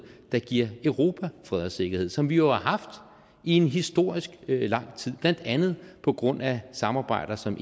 der giver europa fred og sikkerhed som vi jo har haft i en historisk lang tid blandt andet på grund af samarbejder som